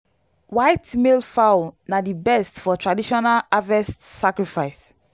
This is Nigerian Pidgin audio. white male fowl na di best for traditional harvest sacrifice.